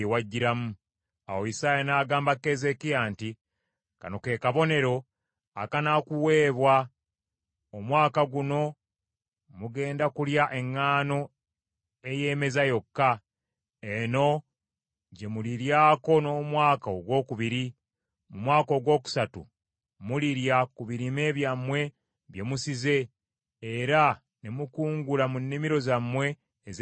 Awo Isaaya n’agamba Keezeekiya nti, “Kano ke kabonero akanaakuweebwa: Omwaka guno mugenda kulya eŋŋaano eyeemeza yokka. Eno gye muliryako n’omwaka ogwokubiri. Mu mwaka ogwokusatu mulirya ku birime byammwe bye musize era ne mukungula mu nnimiro zammwe ez’emizabbibu.